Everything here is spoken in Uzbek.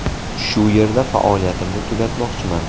Shu yerda faoliyatimni tugatmoqchiman.